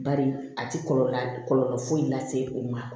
Bari a ti kɔlɔlɔ foyi lase o ma